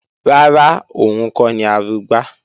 Rárá, òun kọ́ ni Arugbá